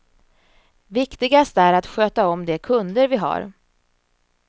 Viktigast är att sköta om de kunder vi har.